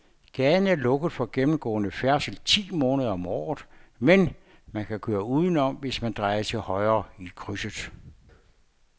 Gaden er lukket for gennemgående færdsel ti måneder om året, men man kan køre udenom, hvis man drejer til højre i krydset.